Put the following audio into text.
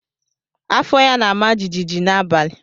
Afọ ya na-ama jijiji n'abalị.